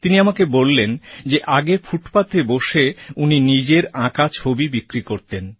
তিনি আমাকে বললেন যে আগে ফুটপাথে বসে উনি নিজের আঁকা ছবি বিক্রি করতেন